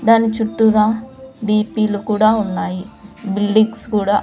దాని చుట్టూరా D P లు కూడా ఉన్నాయి బిల్డిగ్స్ కూడా--